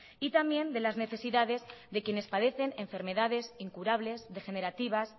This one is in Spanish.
y también de las necesidades de quienes padecen enfermedades incurables degenerativas